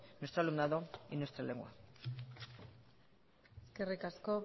nuestro alumnado y nuestra lengua eskerrik asko